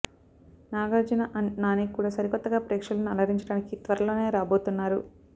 Nagarjuna and Nani కూడా సరికొత్తగా ప్రేక్షకులను అలరించడానికి త్వరలోనే రాబోతున్నారు